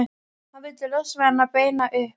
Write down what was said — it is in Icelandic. Hann vildi losna við hann, beina upp